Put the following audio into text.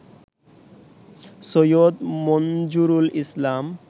Syed Manzurul Islam